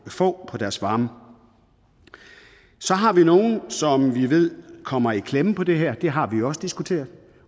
få på deres varme så har vi nogle som vi ved kommer i klemme med det her det har vi også diskuteret